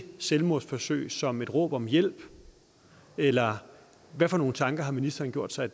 selvmordsforsøg som et råb om hjælp eller hvad for nogle tanker har ministeren gjort sig